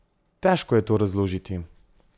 Težko je to razložiti.